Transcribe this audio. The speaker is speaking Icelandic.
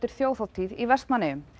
þjóðhátíð í Vestmannaeyjum